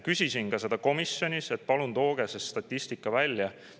Küsisin ka komisjonis, et palun tooge see statistika välja.